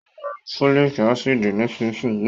Ó ma ma lo fólìk ácìdì nísinsìnyí